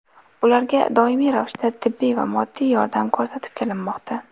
Ularga doimiy ravishda tibbiy va moddiy yordam ko‘rsatib kelinmoqda.